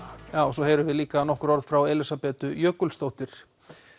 svo heyrum við líka nokkur orð frá Elísabetu Jökulsdóttur